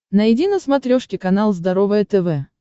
найди на смотрешке канал здоровое тв